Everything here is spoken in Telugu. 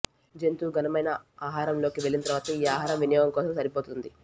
జంతువు ఘనమైన ఆహారంలోకి వెళ్ళిన తరువాత ఈ ఆహారం వినియోగం కోసం సరిపోతుంది